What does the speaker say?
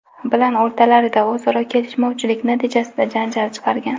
bilan o‘rtalarida o‘zaro kelishmovchilik natijasida janjal chiqargan.